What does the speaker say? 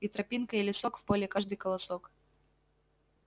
и тропинка и лесок в поле каждый колосок